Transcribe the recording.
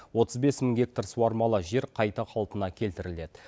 отыз бес мың гектар суармалы жер қайта қалпына келтіріледі